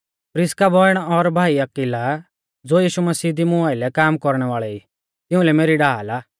प्रिसका बौइण और भाई अक्विला ज़ो यीशु मसीह दी मुं आइलै काम कौरणै वाल़ै ई तिउंलै मेरी ढाल आ